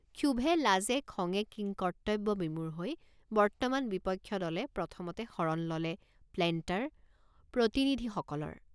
ক্ষোভে লাজে খঙে কিংকৰ্তব্যবিমূঢ় হৈ বৰ্তমান বিপক্ষ দলে প্ৰথমতে শৰণ ললে প্লেণ্টাৰ প্ৰতিনিধি সকলৰ।